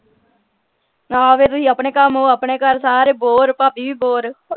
ਹਾਂ ਫੇਰ ਤੁਸੀਂ ਆਪਣੇ ਕੰਮ ਉਹ ਆਪਣੇ ਘਰ ਸਾਰੇ bore ਭਾਭੀ ਵੀ bore